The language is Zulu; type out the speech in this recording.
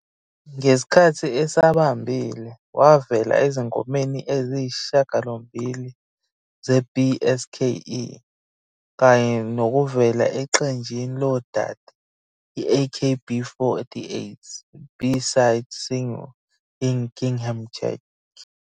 Ngesikhathi esabambile, wavela ezingomeni eziyisishiyagalombili zeB-SKE, kanye nokuvela eqenjini lodade i-AKB48's B-side single "Gingham Check".